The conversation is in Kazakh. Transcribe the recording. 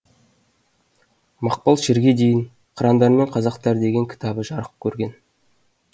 мақпал шерге дейін қырандар мен қазақтар деген кітабы жарық көрген